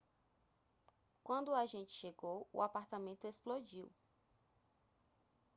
quando o agente chegou o apartamento explodiu